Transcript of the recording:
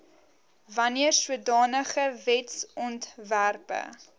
wanneer sodanige wetsontwerpe